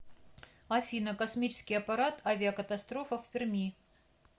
афина космический аппарат авиакатастрофа в перми